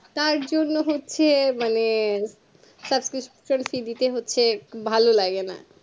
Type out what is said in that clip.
তার জন্য হচ্ছে মানে susbcription দিতে হচ্ছে ভালো লাগেনা